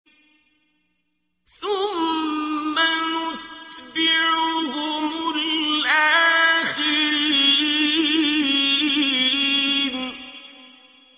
ثُمَّ نُتْبِعُهُمُ الْآخِرِينَ